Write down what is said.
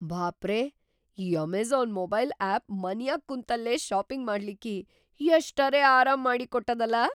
ಭಾಪರೇ! ಈ Amazon mobile app ಮನ್ಯಾಗ್‌ ಕುಂತಲ್ಲೇ ಷಾಪಿಂಗ್‌ ಮಾಡ್ಲಿಕ್ಕಿ ಎಷ್ಟರೇ ಅರಾಮ್‌ ಮಾಡಿಕೊಟ್ಟದಲಾ!